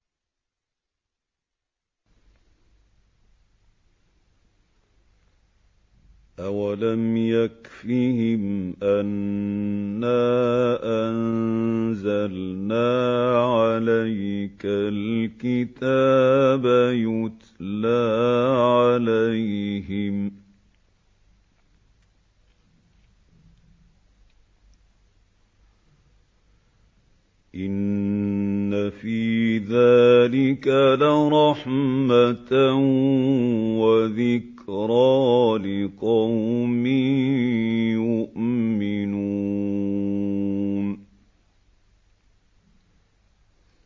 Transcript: أَوَلَمْ يَكْفِهِمْ أَنَّا أَنزَلْنَا عَلَيْكَ الْكِتَابَ يُتْلَىٰ عَلَيْهِمْ ۚ إِنَّ فِي ذَٰلِكَ لَرَحْمَةً وَذِكْرَىٰ لِقَوْمٍ يُؤْمِنُونَ